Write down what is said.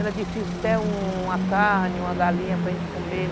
Era difícil ter uma carne, uma galinha para gente comer.